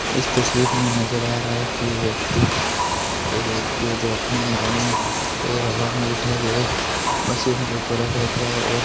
इस तस्वीर में नजर आ रहा है की ये व्यक्ति एक व्यक्ति है जो अपने दोनों पैर हवा में उठा रहे है बस ऊपर रख रहा है और --